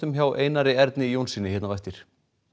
hjá Einar Erni Jónssyni hér á eftir